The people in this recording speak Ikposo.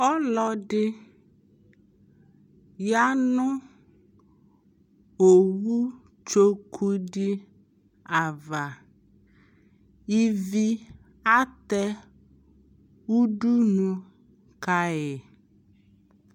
ɔlɔdi yanʋ ɔwʋ tsɔkʋ di aɣa, ivi atɛ ʋdʋnʋ kayi